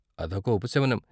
అదొక ఉపశమనం.